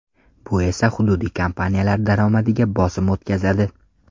Bu esa hududiy kompaniyalar daromadiga bosim o‘tkazadi.